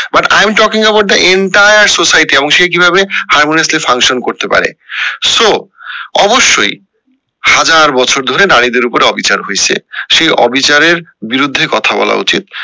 but I am talking about the entire society এবং সে কিভাবে harmoniously function করেত পারে so অবশ্যই হাজার বছর ধরে নারীদের উপরে অবিচার হয়েছে সেই অবিচারের বিরুদ্ধে কথা বলা উচিত